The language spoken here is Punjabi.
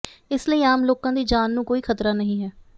ਇਸ ਲਈ ਆਮ ਲੋਕਾਂ ਦੀ ਜਾਨ ਨੂੰ ਕੋਈ ਖ਼ਤਰਾ ਨਹੀਂ ਹੈ